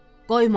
Qoyma!